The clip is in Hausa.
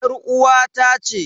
Yar uwata ce.